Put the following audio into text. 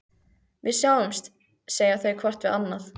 Við sjáumst, segja þau hvort við annað.